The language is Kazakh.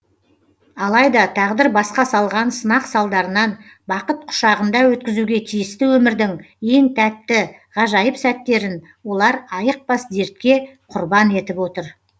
алайда тағдыр басқа салған сынақ салдарынан бақыт құшағында өткізуге тиісті өмірдің ең тәтті ғажайып сәттерін олар айықпас дертке құрбан етіп отыр